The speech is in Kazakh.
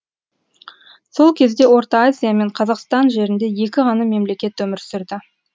сол кезде орта азия мен қазақстан жерінде екі ғана мемлекет өмір сүрді